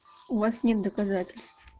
у вас нет доказательств